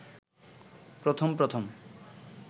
প্রথম প্রথম